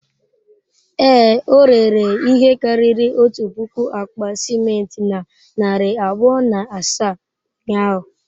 Ee, o rere ihe karịrị otu puku akpa simenti na narị abụọ na asaa ụnyahụ.